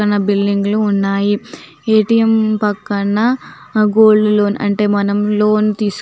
పక్కన బిల్డింగ్ లు ఉన్నాయి ఎ.టి.ఎం. పక్కన గోల్డ్ లోన్ అంటే మనం లోన్ తీసు --